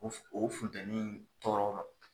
O fun funtɛni tɔɔrɔ ma